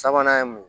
Sabanan ye mun ye